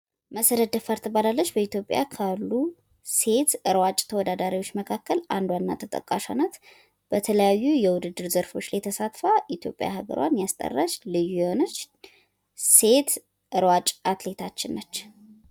መሰረት ደፋር ትባላለች፤ በኢትዮጵያ ካሉ ሴት ሯጭ ተወዳዳሪዎች መካከል አንዷና ተጠቃሿ ናት። በተለያዩ የውድድር ዘርፎች ላይ ተሳትፋ ኢትዮጵያ ሃገሯን ያስጠራች ልዩ የሆነች ሴት ሯጭ አትሌታችን ነች።